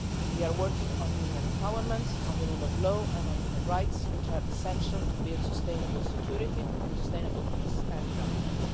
We are working on women's empowerment, the rule of law and human rights, which are essential to build sustainable security, sustainable peace and development.